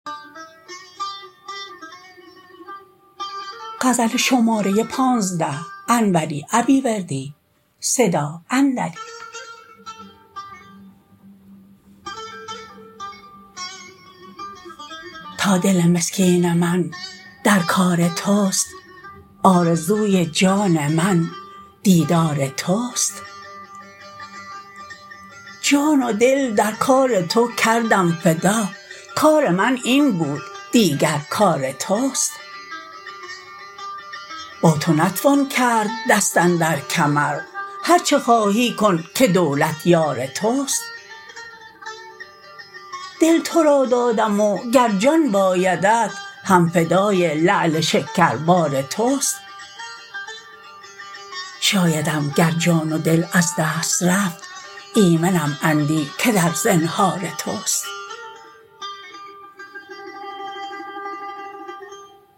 تا دل مسکین من در کار تست آرزوی جان من دیدار تست جان و دل در کار تو کردم فدا کار من این بود دیگر کار تست با تو نتوان کرد دست اندر کمر هرچه خواهی کن که دولت یار تست دل ترا دادم وگر جان بایدت هم فدای لعل شکربار تست شایدم گر جان و دل از دست رفت ایمنم اندیک در زنهار تست